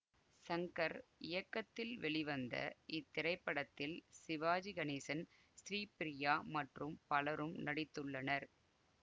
சங்கர் இயக்கத்தில் வெளிவந்த இத்திரைப்படத்தில் சிவாஜி கணேசன் ஸ்ரீபிரியா மற்றும் பலரும் நடித்துள்ளனர்